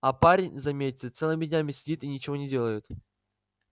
а парень заметьте целыми днями сидит и ничего не делает